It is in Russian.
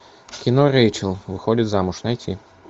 кино рейчел выходит замуж найти